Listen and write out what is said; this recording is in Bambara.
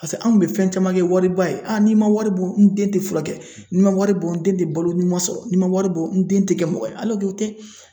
Paseke an kun be fɛn caman kɛ wari ba ye n'i ma wari bɔ n den te furakɛ , n'i ma wari bɔ n den te balo ɲuman sɔrɔ ,n'i ma wari bɔ n den te kɛ mɔgɔ ye o tɛ.